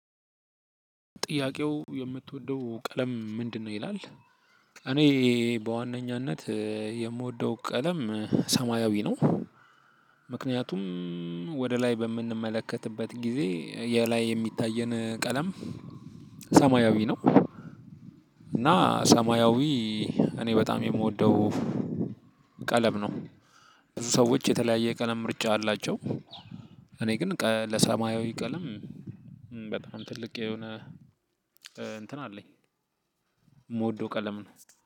ጥያቄው የምትወደው ቀለም ምንድነው? ይላል። እኔ በዋነኛነት የምወደው ቀለም ሰማያዊ ነው። ምክንያቱም ወደ ላይ በምንመለከትበት ጊዜ የ ላይ የሚታየን ቀለም። ሰማያዊ ነው እና ሰማያዊ እኔ በጣም የምወደው ቀለም ነው። ብዙ ሰዎች የተለያየ የ ቀለም ምርጫ አላቸው። እኔ ግን ለሰማያዊ ቀለም በጣም ትልቅ የሆነ እንትን አለኝ። እምወደው ቀለም ነው